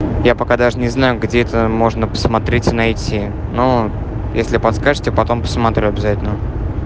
я пока даже не знаю где это можно посмотреть найти но если подскажите потом посмотрю обязательно